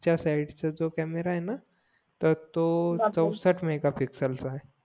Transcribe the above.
मघाच्या side जो camera आहेना तर तो चवसष्ठ मेगापिक्सएल चा आहे